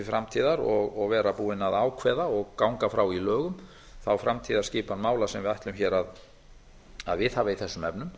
framtíðar og vera búinn að ákveða og ganga frá í lögum þá framtíðarskipan mála sem við ætlum hér að viðhafa í þessum efnum